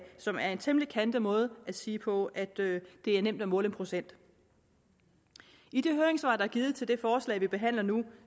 som er en temmelig kantet måde at sige på at det er nemt at måle en procent i de høringssvar er givet til det forslag vi behandler nu